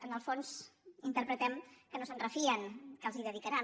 en el fons interpretem que no se’n refien que els hi dedicaran